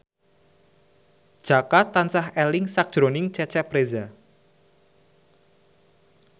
Jaka tansah eling sakjroning Cecep Reza